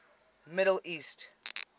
middle east